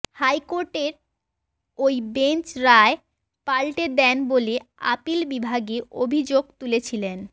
হাইকোর্টের ওই বেঞ্চ রায় পাল্টে দেন বলে আপিল বিভাগে অভিযোগ তুলেছিলেন